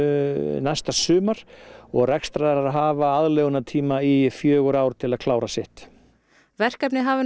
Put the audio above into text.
næsta sumar og rekstraraðilar hafa aðlögunartíma í fjögur ár til að klára sitt verkefnið hafi nú